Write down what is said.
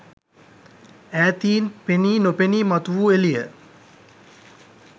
ඈතීන් පෙනී නොපෙනී මතු වූ එළිය